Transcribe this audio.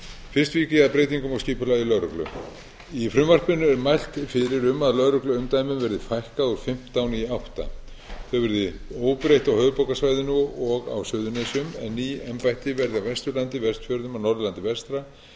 fyrst vík ég að breytingum á skipulagi lögreglu í frumvarpinu er mælt fyrir um að lögregluumdæmum verði fækkað úr fimmtán í áttunda þau verði óbreytt á höfuðborgarsvæðinu og á suðurnesjum en ný embætti verði á vesturlandi vestfjörðum norðurlandi vestra á